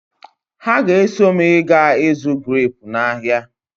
Ha ga-eso m ịga ịzụ greepu n'ahia.